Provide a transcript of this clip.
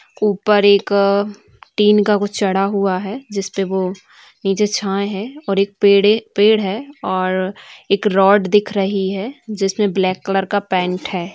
ऊपर एक टीन का कुछ चढ़ा हुआ है जिसपे वो नीचे छाए है और एक पेड़े पेड़ है और एक रॉड दिख रही है जिसमे ब्लैक कलर का पैंट है।